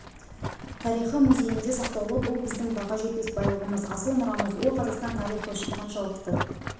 тарихы музейінде сақтаулы бұл біздің баға жетпес байлығымыз асыл мұрамыз ол қазақстан тарихы үшін қаншалықты